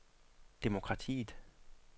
demokratiet